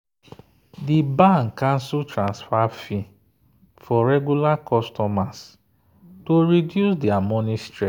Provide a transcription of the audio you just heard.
the bank cancel transfer fee for regular customers to reduce their money stress.